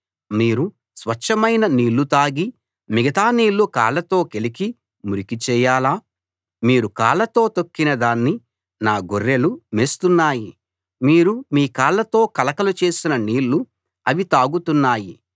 మీరు స్వచ్ఛమైన నీళ్ళు తాగి మిగతా నీళ్ళు కాళ్ళతో కెలికి మురికిచేయాలా మీరు కాళ్లతో తొక్కిన దాన్ని నా గొర్రెలు మేస్తున్నాయి మీరు మీ కాళ్ళతో కలకలు చేసిన నీళ్ళు అవి తాగుతున్నాయి